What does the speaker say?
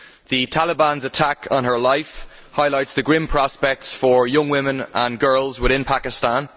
The Taliban's attack on her life highlights the grim prospects for young women and girls within Pakistan.